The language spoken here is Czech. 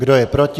Kdo je proti?